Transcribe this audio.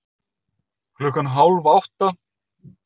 Klukkan hálf átta